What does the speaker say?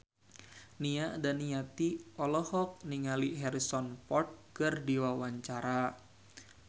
Nia Daniati olohok ningali Harrison Ford keur diwawancara